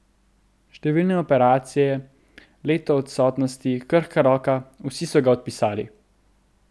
Številne operacije, leto odsotnosti, krhka roka, vsi so ga odpisali.